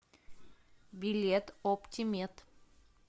билет оптимед